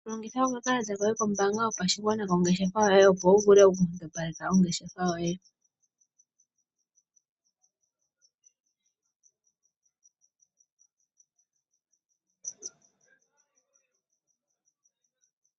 Longitha okakalata koye kombaanga yopashigwana kongeshefa yoye opo wu vule okundopaleka ongeshefa yoye.